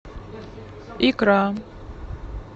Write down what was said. икра